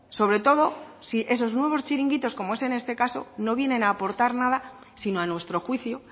sobre todo si esos nuevos chiringuitos como es en este caso no vienen a aportar nada sino a nuestro juicio